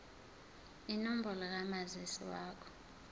inombolo kamazisi wakho